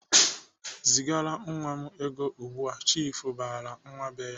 "Zigara nwa m ego ugbu!"Chiifu barala nwa be ya.